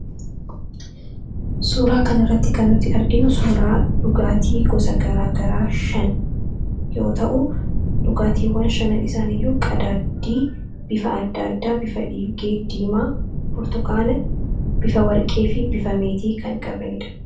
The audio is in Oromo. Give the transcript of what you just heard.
Suuraa kana irratti kan arginu dhugaatii gosa gara garaa yoo ta'u, dhugaatiwwan shanan isaaniiyyuu bifa adda addaa bifa ilgee, burtukaana, bifa warqeefi bifa meetii kan qabanidha.